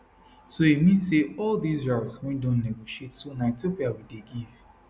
so e mean say all dis routes wey don negotiate so na ethiopia we dey give